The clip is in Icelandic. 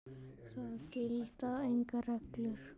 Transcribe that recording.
Það gilda engar reglur.